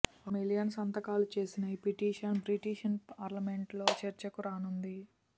ఒక మిలియన్ సంతకాలు చేసిన ఈ పిటిషన్ బ్రిటిష్ పార్లమెంట్లో చర్చకు రానుంది